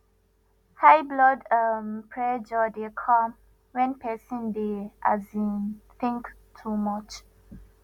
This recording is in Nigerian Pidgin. high blood um pressure dey come when person dey um think too much